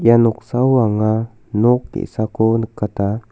ia noksao anga nok ge·sako nikata.